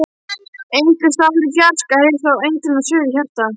Einhversstaðar í fjarska heyrist þó eintóna suð í hjarta.